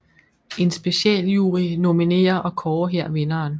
En specialjury nominerer og kårer her vinderen